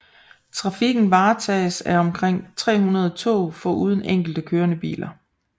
Trafikken varetages af omkring 300 tog foruden enkelte kørende biler